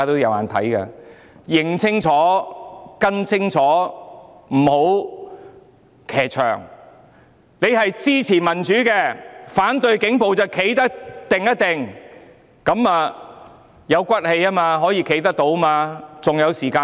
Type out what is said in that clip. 要認清楚，不要騎牆，如果支持民主及反對警暴便要堅定，這樣才有骨氣，可以站得住。